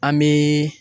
An bɛ